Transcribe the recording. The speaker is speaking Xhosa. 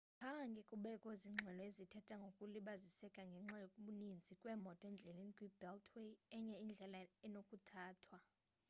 khange kubekho zingxelo ezithetha ngokulibaziseka ngenxa yokubaninzi kweemoto endleleni kwi-beltway enye indlela enokuthathwa